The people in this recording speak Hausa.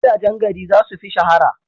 Gidajen gari za su fi shahara.